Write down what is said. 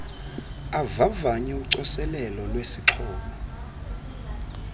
avavanye ucoselelo lwesixhobo